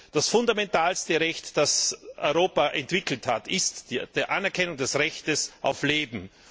Das fundamentalste Recht, das Europa entwickelt hat, ist die Anerkennung des Rechts auf Leben.